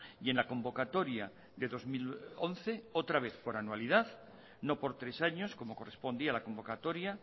y en la convocatoria de dos mil once otra vez por anualidad no por tres años como correspondía a la convocatoria